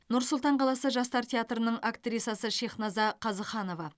нұр сұлтан қаласы жастар театрының актрисасы шехназа қазыханова